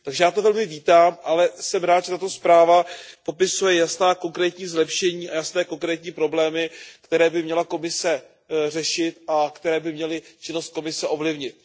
Takže já to velmi vítám, ale jsem rád, že tato zpráva popisuje jasná konkrétní zlepšení a jasné konkrétní problémy, které by měla Komise řešit, a které by měly činnost Komise ovlivnit.